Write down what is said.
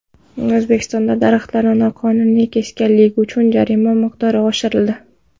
O‘zbekistonda daraxtlarni noqonuniy kesganlik uchun jarima miqdori oshirildi.